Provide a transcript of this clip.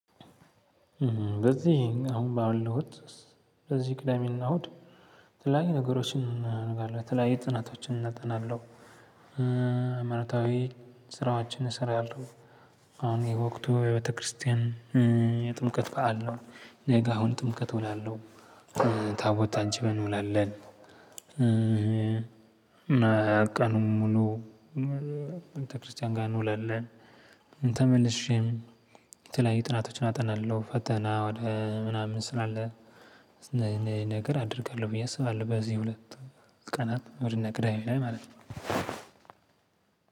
በዚህ አሁን ባለውት በዚህ ቅዳሜና እሁድ የተለያዩ ነገሮችን ነገር አለ ተለያይ ጥናቶችን እናጠናለሁ። ሃይማኖታዊ ስራዎችን እሰራለሁ። አሁን የወቅቱ የቤተክርስቲያን የጥምቀት በዓል ነው። ነገ አሁን ጥምቀት እውላለሁ። ታቦት አንቺ እንውላለን ም ቀኑን ሙሉ ቤተክርስቲያን ጋር እንውላለን። ተመልሼም የተለያዩ ጥናቶችን አጠናለሁ ፈተና ወደ ምናምን ስላለ። ነገር አደርጋለሁ ብዬ አስባለሁ። በዚህ ሁለት ቀናት እሁድ እና ቅዳሜ ላይ ማለት ነው።